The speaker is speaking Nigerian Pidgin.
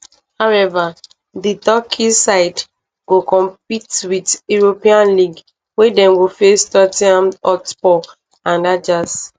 however di turkish side go compete for europa league wia dem go face tot ten ham hotspur and ajax